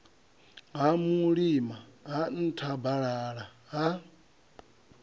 ha mulima ha nthabalala ha